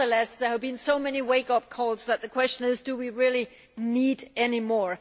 There have been so many wake up calls that the question is, do we really need any more?